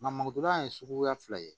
Nka mɔgoda ye suguya fila ye